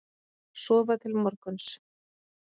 Sofa til morguns.